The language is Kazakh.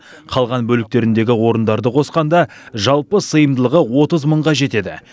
қалған бөліктеріндегі орындарды қосқанда жалпы сыйымдылығы отыз мыңға жетеді